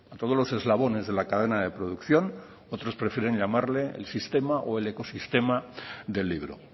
todos los eslabones de la cadena de producción otros prefieren llamarle el sistema o el ecosistema del libro